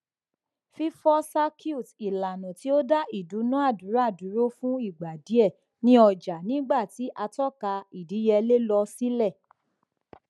fífọ circuit ìlànà tí ó dá ìdúnàdúrà dúró fún ìgbà díẹ ní ọjà nígbà tí àtọka ìdíyelé lọ sílẹ